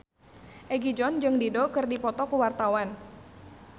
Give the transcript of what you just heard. Egi John jeung Dido keur dipoto ku wartawan